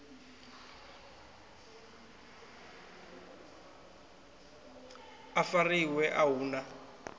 a fariwe a hu na